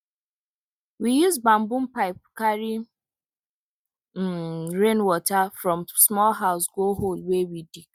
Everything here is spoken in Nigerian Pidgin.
we use bamboo pipe carry um rainwater from small house go hole wey we dig